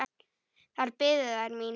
Þar biðu þær mín.